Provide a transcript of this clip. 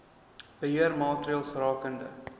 beheer maatreëls rakende